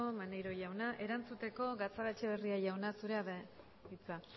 maneiro jauna erantzuteko gatzagaetxebarria jauna zurea da hitza